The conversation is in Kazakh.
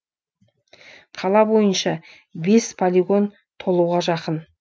қала бойынша бес полигон толуға жақын